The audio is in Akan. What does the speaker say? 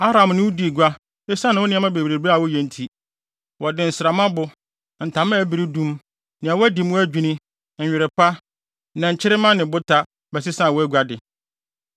“ ‘Aram ne wo dii gua esiane wo nneɛma bebrebe a woyɛ nti; wɔde nsrammabo, ntama a ɛberedum, nea wɔadi mu adwinni, nwera pa, nnɛnkyerema ne bota bɛsesaa wʼaguade.